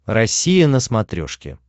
россия на смотрешке